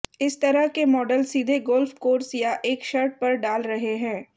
इस तरह के मॉडल सीधे गोल्फ कोर्स या एक शर्ट पर डाल रहे हैं